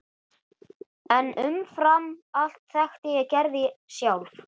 En umfram allt þekkti ég Gerði sjálf.